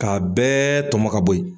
Ka bɛɛ tɔmɔ ka bɔ yen